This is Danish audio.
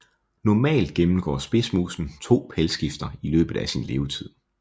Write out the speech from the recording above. Normalt gennemgår spidsmusen to pelsskifter i løbet af sin levetid